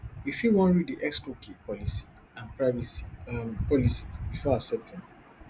you fit wan read di xcookie policyandprivacy um policybefore accepting